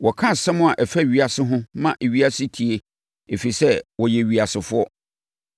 Wɔka nsɛm a ɛfa ewiase ho ma ewiase tie ɛfiri sɛ, wɔyɛ ewiasefoɔ.